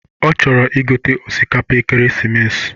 Ọ chọrọ igote osikapa ekeresimesi